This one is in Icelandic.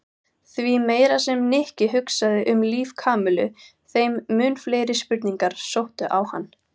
Því meira sem Nikki hugsaði um líf Kamillu þeim mun fleiri spurningar sóttu á hann.